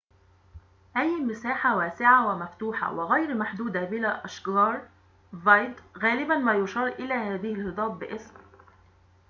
غالباً ما يشار إلى هذه الهضاب باسم vidde أي مساحة واسعة ومفتوحة وغير محدودة بلا أشجار